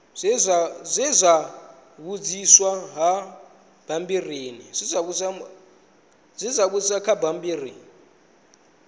zwe zwa vhudziswa kha bammbiri